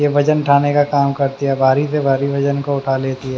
ये वजन उठाने का काम करती है भारी से भारी वजन को उठा लेती है।